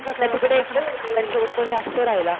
का तिकडे शेवट कोणी असतं रहायला?